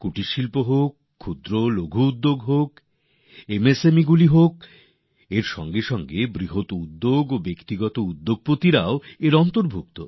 কুটির শিল্প হোক ছোট ও লঘু শিল্প হোক এমএসএমই হোক এর পাশাপাশি বড় এবং ব্যক্তিগত উদ্যোগও এর আওতায় আছে